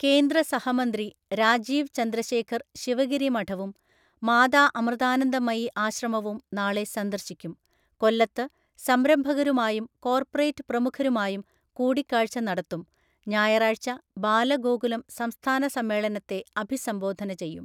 കേന്ദ്ര സഹമന്ത്രി രാജീവ് ചന്ദ്രശേഖർ ശിവഗിരി മഠവും, മാതാ അമൃതാനന്ദമയി ആശ്രമവും നാളെ സന്ദർശിക്കും കൊല്ലത്ത് സംരംഭകരുമായും കോർപ്പറേറ്റ് പ്രമുഖരുമായും കൂടിക്കാഴ്ച്ച നടത്തും ഞായറാഴ്ച ബാലഗോകുലം സംസ്ഥാന സമ്മേളനത്തെ അഭിസംബോധന ചെയ്യും